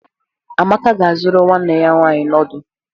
Amaka ga-azụrụ nwanne ya nwanyị noodu?